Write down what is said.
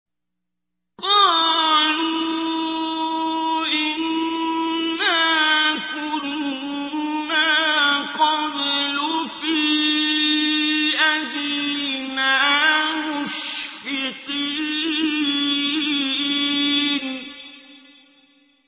قَالُوا إِنَّا كُنَّا قَبْلُ فِي أَهْلِنَا مُشْفِقِينَ